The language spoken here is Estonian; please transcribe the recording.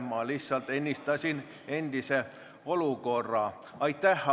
Ma lihtsalt ennistasin endise olukorra.